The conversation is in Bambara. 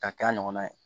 K'a kɛ a ɲɔgɔnna ye